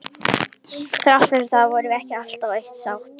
Þrátt fyrir það vorum við ekki alltaf á eitt sátt.